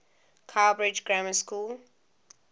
cowbridge grammar school